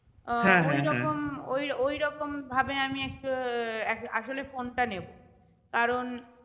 আহ ওই~ঐরকম ভাবে আমি একটা আহ আসলে phone টা নেবো কারণ